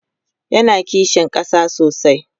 yana kishin ƙasa sosai